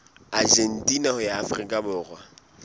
argentina ho ya afrika borwa